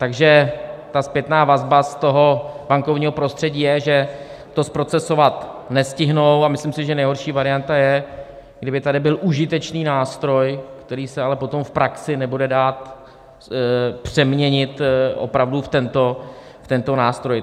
Takže ta zpětná vazba z toho bankovního prostředí je, že to zprocesovat nestihnou, a myslím si, že nejhorší varianta je, kdyby tady byl užitečný nástroj, který se ale potom v praxi nebude dát přeměnit opravdu v tento nástroj.